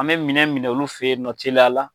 An bɛ minɛn minɛ olu fɛ yen nɔ teliya la.